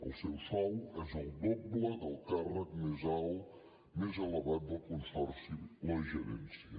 el seu sou és el doble del càrrec més elevat del consorci la gerència